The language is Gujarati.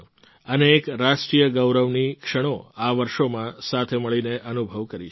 અનેક રાષ્ટ્રીય ગૌરવની ક્ષણો આ વર્ષોમાં સાથે મળીને અનુભવ કરી છે